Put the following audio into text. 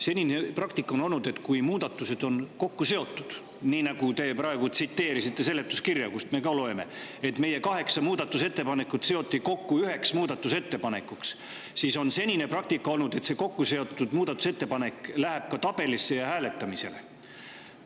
Senine praktika on olnud selline, et kui muudatused on kokku seotud – nii nagu te praegu tsiteerisite seletuskirja, kust me loeme, et meie kaheksa muudatusettepanekut seoti kokku üheks muudatusettepanekuks –, siis see läheb ka tabelisse ja hääletamisele.